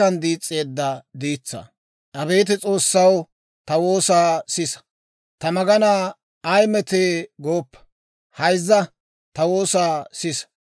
Hayzza; ta woosaa sisa; Ta k'ofay taana waayissina, taani shabbarettaad.